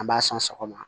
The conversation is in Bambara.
An b'a sɔn sɔgɔma